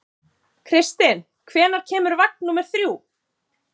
Kristinn, hvenær kemur vagn númer þrjú?